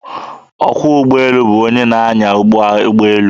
Ọkwọ ụgbọelu bụ onye na-anya ụgbọelu.